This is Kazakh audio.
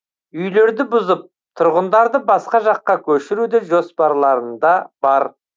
үйлерді бұзып тұрғындарды басқа жаққа көшіру де жоспарларында бар